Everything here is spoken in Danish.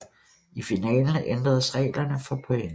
I finalen ændres reglerne for point